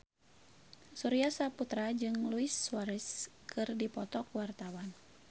Surya Saputra jeung Luis Suarez keur dipoto ku wartawan